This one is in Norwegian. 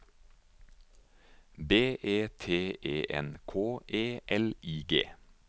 B E T E N K E L I G